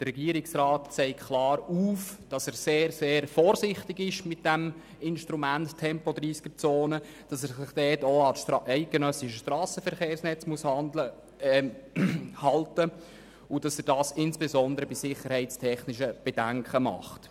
Der Regierungsrat zeigt klar auf, dass er mit dem Instrument der Tempo-30Zonen sehr, sehr vorsichtig ist, sich auch an das Strassenverkehrsgesetz (SVG) halten muss und dies insbesondere bei sicherheitstechnischen Bedenken tut.